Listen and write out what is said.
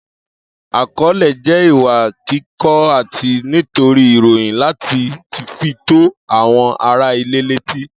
Akọọlẹ jẹ ìwà kíkọ àti tító ìròyìn lati tí fi tó àwọn ará ilé leti.